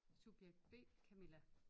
Subjekt B Camilla